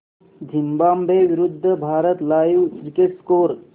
Zimbabwe विरूद्ध Bharat live cricket score